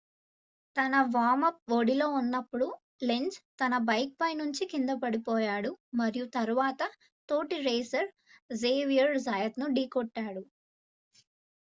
తన వార్మ్-అప్ ఒడిలో ఉన్నప్పుడు లెంజ్ తన బైక్ పై నుంచి కిందపడిపోయాడు మరియు తరువాత తోటి రేసర్ జేవియర్ జాయత్ ను ఢీకొట్టాడు